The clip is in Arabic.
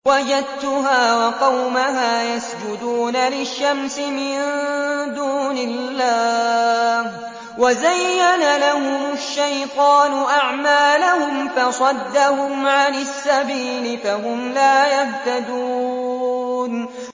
وَجَدتُّهَا وَقَوْمَهَا يَسْجُدُونَ لِلشَّمْسِ مِن دُونِ اللَّهِ وَزَيَّنَ لَهُمُ الشَّيْطَانُ أَعْمَالَهُمْ فَصَدَّهُمْ عَنِ السَّبِيلِ فَهُمْ لَا يَهْتَدُونَ